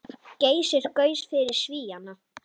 Geysir gaus fyrir Svíana.